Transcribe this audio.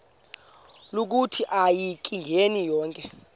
lokuthi akayingeni konke